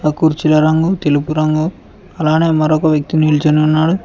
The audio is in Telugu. కుర్చీల రంగు తెలుగు రంగు అలానే మరొక వ్యక్తి నిల్చొని ఉన్నాడు.